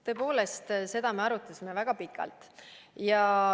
Tõepoolest, seda me arutasime väga pikalt.